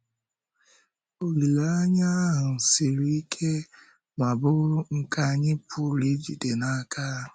Olileanya ahụ siri ike ma bụrụ nke anyị pụrụ ijide n’aka.